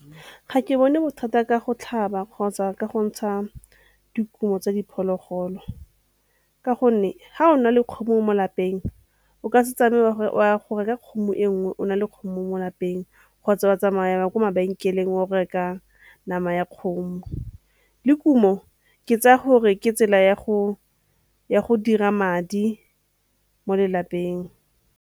Ga ke bone bothata ka go tlhaba kgotsa ka go ntsha dikumo tsa diphologolo ka gonne ga o na le kgomo mo lapeng o ka se tsamaye wa ya go reka kgomo e nngwe o na le kgomo mo lapeng kgotsa wa tsamaya wa ya kwa mabenkeleng o reka nama ya kgomo le kumo ke tsaya gore ke tsela ya go dira madi mo lelapeng.